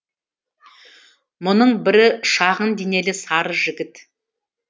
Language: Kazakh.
мұның бірі шағын денелі сары жігіт